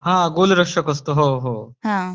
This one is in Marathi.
हो गोल रक्षक असतो हो हो